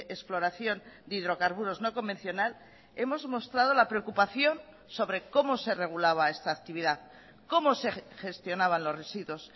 exploración de hidrocarburos no convencional hemos mostrado la preocupación sobre cómo se regulaba esta actividad cómo se gestionaban los residuos